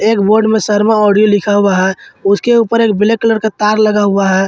एक बोर्ड में शर्मा ऑडियो लिखा हुआ है उसके ऊपर एक ब्लैक कलर का तार लगा हुआ है।